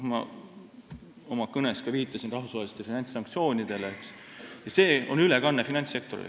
Ma oma kõnes ka viitasin rahvusvahelistele finantssanktsioonidele ja nende ülekandumisele finantssektorile.